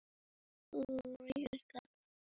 Mamma mér er kalt!